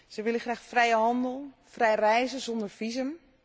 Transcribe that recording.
Ze willen graag vrijhandel, vrij reizen zonder visum.